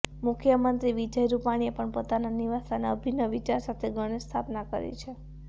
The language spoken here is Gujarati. મુખ્યમંત્રી વિજય રૂપાણીએ પણ પોતાના નિવાસસ્થાને અભિનવ વિચાર સાથે ગણેશ સ્થાપના કરી છે